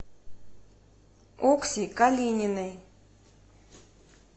окси калининой